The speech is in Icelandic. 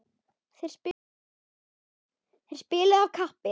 Þeir spiluðu af kappi.